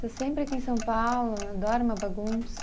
Está sempre aqui em São Paulo, adora uma bagunça.